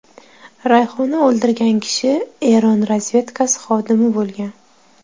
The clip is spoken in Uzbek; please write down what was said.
Rayhona o‘ldirgan kishi Eron razvedkasi xodimi bo‘lgan.